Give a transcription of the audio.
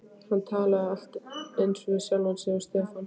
Hann talaði allt eins við sjálfan sig og Stefán.